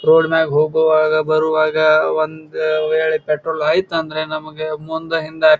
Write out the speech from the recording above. road ಮ್ಯಾಗ ಹೋಗುವಾಗ ಬರುವಾಗ ಒಂದು ವೇಳೆ ಪೆಟ್ರೋಲ್ ಆಯಿತ ಅಂದ್ರ ನಮಗ ಮುಂದ ಹಿಂದ --